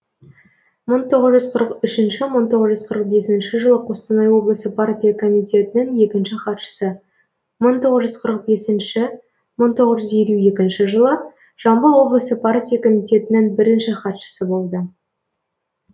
мың тоғыз жүз қырық үшінші мың тоғыз жүз қырық бесінші жылы қостанай облысы партия комитетінің екінші хатшысы мың тоғыз жүз қырық бесінші мың тоғыз жүз елу екінші жылы жамбыл облысы партия комитетінің бірінші хатшысы болды